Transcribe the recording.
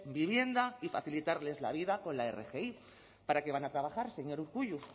vivienda y facilitarles la vida con la rgi para qué van a trabajar señor urkullu